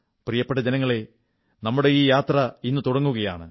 പ്രിയപ്പെട്ട ജനങ്ങളേ നമ്മുടെ ഈ യാത്ര ഇന്നു തുടങ്ങുകയാണ്